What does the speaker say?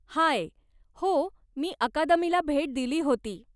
हाय! हो, मी अकादमीला भेट दिली होती.